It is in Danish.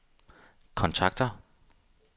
kontakter